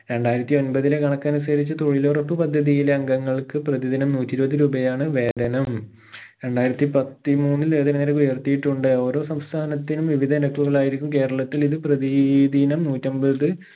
രണ്ടായിരത്തി ഒമ്പതിലെ കണക്കനുസരിച്ച് തൊഴിലുറപ്പ് പദ്ധതിയിലെ അംഗങ്ങൾക്ക് പ്രതിദിനം നൂറ്റിഇരുപത് രൂപയാണ് വേദനം രണ്ടായിരത്തി പത്തിമൂന്നിൽ ഇതിനെതിരെ ഉയർത്തിയിട്ടുണ്ട് ഓരോ സംസ്ഥാനത്തിനുംവിവിധ ആയിരിക്കും കേരളത്തിൽ ഇത് പ്രതി ദിനം നൂറ്റമ്പത്